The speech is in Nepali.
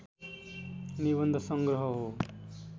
निबन्ध सङ्ग्रह हो